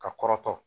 Ka kɔrɔtɔ